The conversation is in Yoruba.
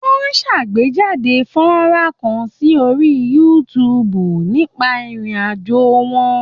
Wọ́n ṣàgbéjáde fọ́nrán kan sí orí YouTube nípa ìrìn àjò wọn.